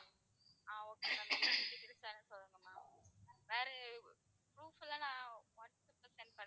ஆஹ் okay ma'am என்னென்ன details வேணும் சொல்லுங்க ma'am வேற proof எல்லாம் நான் வாட்ஸ்ஆப்ல send பண்ணவா?